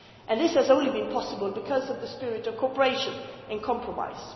This has only been possible because of the spirit of cooperation and compromise.